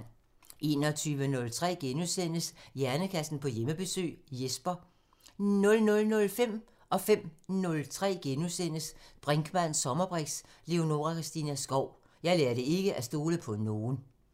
21:03: Hjernekassen på Hjemmebesøg – Jesper * 00:05: Brinkmanns sommerbriks: Leonora Christina Skov – Jeg lærte ikke at stole på nogen * 05:03: Brinkmanns sommerbriks: Leonora Christina Skov – Jeg lærte ikke at stole på nogen *